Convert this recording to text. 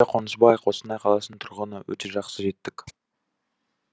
кенже қонысбай қостанай қаласының тұрғыны өте жақсы жеттік